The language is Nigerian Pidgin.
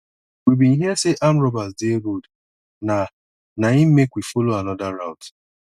we bin hear sey armed robbers dey road na na im make we folo anoda route